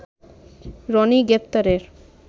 রনির গ্রেপ্তারে